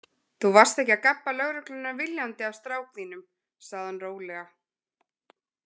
Þú varst ekki að gabba lögregluna viljandi af strák þínum, sagði hann rólega.